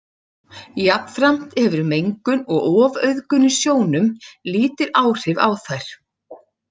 Jafnframt hefur mengun og ofauðgun í sjónum lítil áhrif á þær.